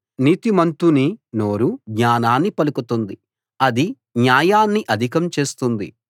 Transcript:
నీతిమంతుని నోరు జ్ఞానాన్ని పలుకుతుంది అది న్యాయాన్ని అధికం చేస్తుంది